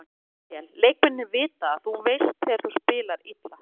Við spiluðum ekki vel, leikmennirnir vita það, þú veist þegar þú spila illa.